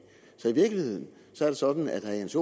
så i virkeligheden er det sådan at herre jens